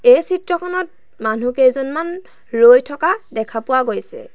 এই চিত্ৰখনত মানুহকেইজনমান ৰৈ থকা দেখা পোৱা গৈছে।